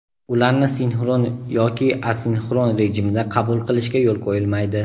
ularni sinxron yoki asinxron rejimida qabul qilishga yo‘l qo‘yilmaydi.